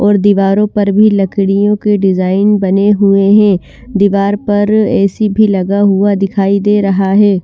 और दीवारों पर भी लकड़ियों की डिजाइन बनी हुई है दीवार पर ऐ_सी भी लगा हुआ दिखाई दे रहा है।